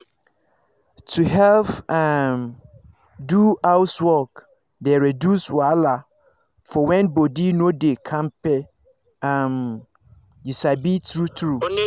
to help um do housework dey reduce wahala for when body no dey kampe um you sabi true true